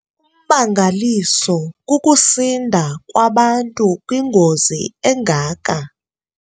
Ummangaliso kukusinda kwabantu kwingozi engaka.